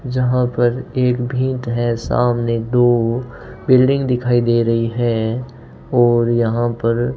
जहां पर एक भीट है सामने दो बिल्डिंग दिखाई दे रही है और यहां पर --